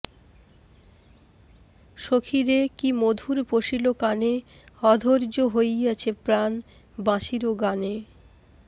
সখী রে কি মধুর পশিল কানে অধৰ্য হইয়াছে প্ৰাণ বাঁশির গানে